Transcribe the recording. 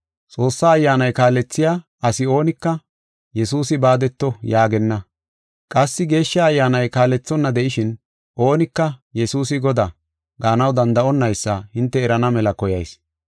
Xoossaa Ayyaanay kaalethiya asi oonika, “Yesuusi baadeto” yaagenna. Qassi Geeshsha Ayyaanay kaalethonna de7ishin, oonika, “Yesuusi Godaa” gaanaw danda7onaysa hinte erana mela koyayis.